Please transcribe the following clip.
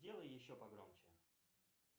сделай еще погромче